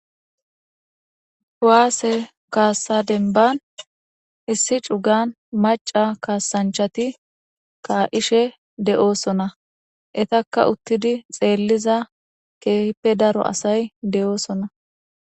Kuwaase kaassa denban issi cugan maca kaasanchati ka7ishe de7oosona etakka uttidi xeelliza keehippe daro asay de7oosona